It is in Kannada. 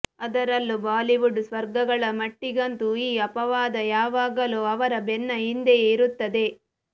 ಅದರಲ್ಲೂ ಬಾಲಿವುಡ್ ಸ್ಟಾರ್ಗಳ ಮಟ್ಟಿಗಂತೂ ಈ ಅಪವಾದ ಯಾವಾಗಲೂ ಅವರ ಬೆನ್ನ ಹಿಂದೆಯೇ ಇರುತ್ತದೆ